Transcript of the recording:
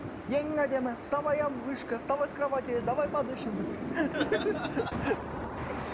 ең әдемі самая вышка вставай с кроватьи давай подышем деп